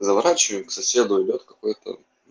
заворачиваю к соседу идёт какой-то